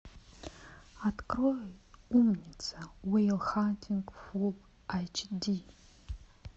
открой умница уилл хантинг фулл эйч ди